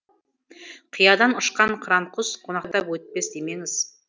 қиядан ұшқан қыран құс қонақтап өтпес демеңіз